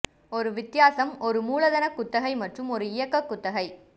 ஒரு வித்தியாசம் ஒரு மூலதன குத்தகை மற்றும் ஒரு இயக்க குத்தகை